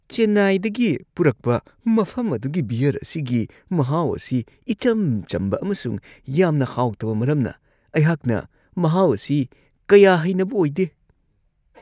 ꯆꯦꯟꯅꯥꯏꯗꯒꯤ ꯄꯨꯔꯛꯄ ꯃꯐꯝ ꯑꯗꯨꯒꯤ ꯕꯤꯌꯔ ꯑꯁꯤꯒꯤ ꯃꯍꯥꯎ ꯑꯁꯤ ꯏꯆꯝ-ꯆꯝꯕ ꯑꯃꯁꯨꯡ ꯌꯥꯝꯅ ꯍꯥꯎꯇꯕ ꯃꯔꯝꯅ ꯑꯩꯍꯥꯛꯅ ꯃꯍꯥꯎ ꯑꯁꯤ ꯀꯌꯥ ꯍꯩꯅꯕ ꯑꯣꯏꯗꯦ ꯫